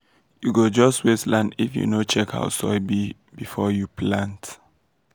you go just waste land if you no check how soil be before you plant.